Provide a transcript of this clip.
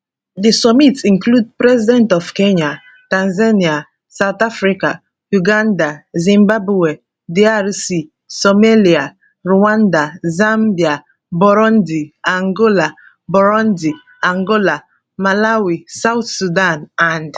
di summit include president of kenya tanzania south africa uganda zimbabwe drc somalia rwanda zambia burundi angola burundi angola malawi south sudan and madagascar